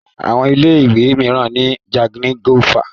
Àwọn ilé ìwé mìíràn ni jangilófà.